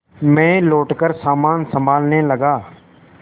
मैं लौटकर सामान सँभालने लगा